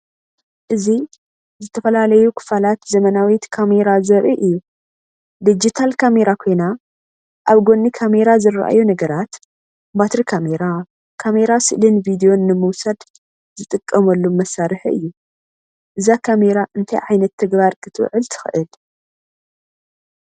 እዚ ዝተፈላለዩ ክፋላት ዘመናዊት ካሜራ ዘርኢ እዩ። ዲጂታል ካሜራ ኮይና ኣብ ጎኒ ካሜራ ዝረኣዩ ነገራት፡ ባትሪ ካሜራ፡ ካሜራ ስእልን ቪድዮን ንምውሳድ ዝጥቀመሉ መሳርሒ እዩ። እዛ ካሜራ ንእንታይ ዓይነት ተግባር ክትውዕል ትኽእል?